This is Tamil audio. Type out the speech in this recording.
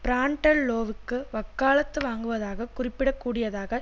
பிரான்டெல்லோவுக்கு வக்காலத்து வாங்குவதாக குறிப்பிடகூடியதாக